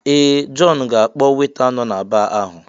Ee! Jọn ga-akpọ weta nọ na baa ahụ.